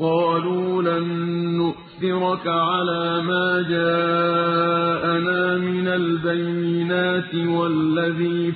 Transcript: قَالُوا لَن نُّؤْثِرَكَ عَلَىٰ مَا جَاءَنَا مِنَ الْبَيِّنَاتِ وَالَّذِي